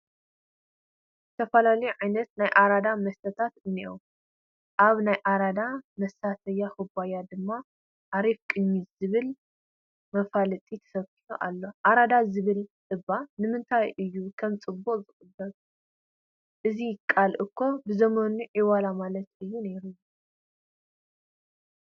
ዝተፈላለዩ ዓይነት ናይ ኣራዳ መስተታት እኔዉ፡፡ ኣብ ናይ ኣራዳ መሳተያ ኩባያ ድማ ኣሪፍ ቅኝት ዝብል መፋለጢ ተሰኪዑ ኣሎ፡፡ ኣራዳ ዝብል እባ ንምንታይ እዩ ከም ፅቡቕ ዝቐርብ? እዚ ቃል እኮ ብዘመኑ ዒዋላ ማለት እዩ ነይሩ፡፡